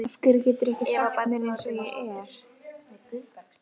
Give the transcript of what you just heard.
Af hverju geturðu ekki sagt mér eins og er?